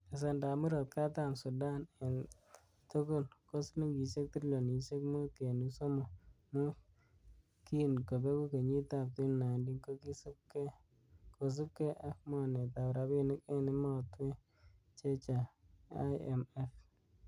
Besendab Murot katam Sudan en tugul ko silingisiek trilionisiek mut kenuch somok mut, kin kobeku kenyitab 2019,kosiibge ak mornetab rabinik en emotwek chechang(IMF).